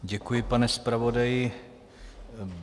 Děkuji, pane zpravodaji.